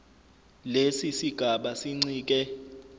lesi sigaba sincike